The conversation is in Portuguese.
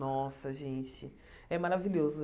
Nossa, gente, é maravilhoso.